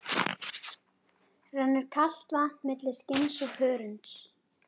Rennur kalt vatn milli skinns og hörunds.